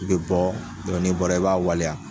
I bɛ bɔ n'i bɔra i b'a waleya.